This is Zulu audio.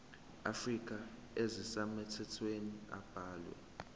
afrika ezisemthethweni abalwe